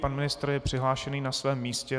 Pan ministr je přihlášen na svém místě.